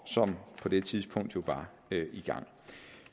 som på det tidspunkt jo var i gang